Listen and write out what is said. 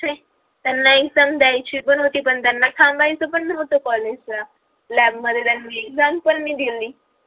त्यांना exam दयायची पण होती पण त्यांना थांबायचं पण नवत college ला lab मध्ये त्यांनी exam पण नाही दिली